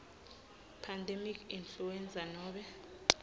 pandemic influenza nobe